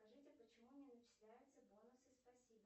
скажите почему не начисляются бонусы спасибо